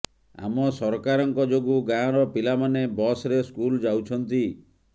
ଆମ ସରକାରଙ୍କ ଯୋଗୁ ଗାଁର ପିଲାମାନେ ବସ୍ରେ ସ୍କୁଲ୍ ଯାଉଛନ୍ତି